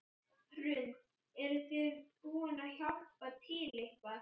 Hrund: Eruð þið búin að hjálpa til eitthvað?